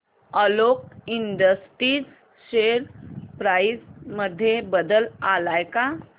Alok industries share price मध्ये बदल आलाय का